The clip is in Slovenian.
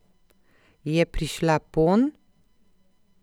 Je prišla ponj?